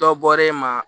Dɔ bɔra e ma